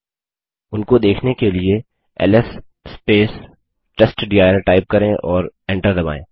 उनको देखने के लिए एलएस टेस्टडिर टाइप करें और एंटर दबायें